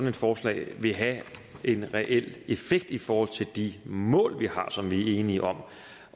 et forslag vil have en reel effekt i forhold til de mål vi har som vi er enige om